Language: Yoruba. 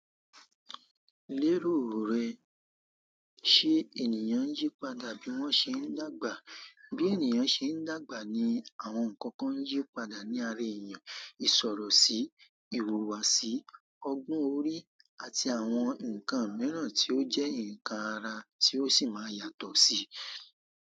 Léròò rẹ, ṣé ènìyàn ń yí padà bí wọ́n ṣe ń dàgbà? Bí ènìyàn ṣe ń dàgbà ni àwọn nǹkan kan yíó padà ní ara ènìyàn, ìṣòro síi, ìhùwàsí, ọgbọ́n orí àti àwọn nǹkan mìíràn tí ó jẹ́ nǹkan ara tí ó sì máa yàtọ̀ síi.